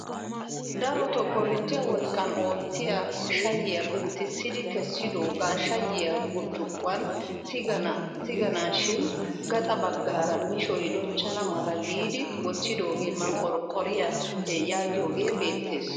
Darotoo korinttiyaa wolaqqan oottiyaa shayiyaa penttisidi kessidogaa shayiyaa burccukkuwaan tiganashib gaxa baggaara mishoy dochchana mala giidi wottidoogee manqorqoriyaa yaagiyoogee beettees.